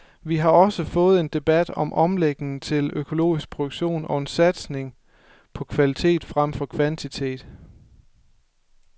Vi har også fået en debat om omlægning til økologisk produktion og en satsning på kvalitet frem for kvantitet.